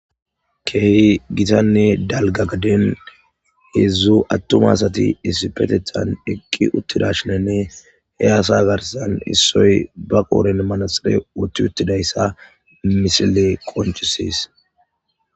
Kehi giitanne dalgga gadden hezhzhu attuma assati issippetethan eqqi uttidashinine he asa garssan issoy ba qodhdhen manaxxire woththi uttidayssa missiley qonccises.